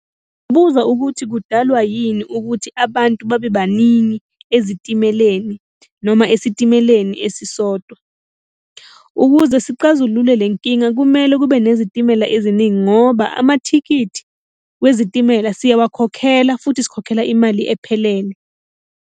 Ngingabuza ukuthi kudalwa yini ukuthi abantu babe baningi ezitimeleni noma esitimeleni esisodwa. Ukuze siqazulule le nkinga kumele kube nezitimela eziningi ngoba amathikithi wezitimela siyawakhokhela, futhi sikhokhela imali ephelele.